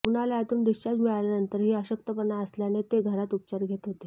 रुग्णालयातून डिस्चार्ज मिळाल्यानंतरही अशक्तपणा असल्याने ते घरात उपचार घेत होते